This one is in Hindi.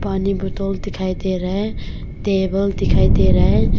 पानी बोतल दिखाई दे रहा है टेबल दिखाई दे रहा है।